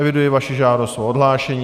Eviduji vaši žádost o odhlášení.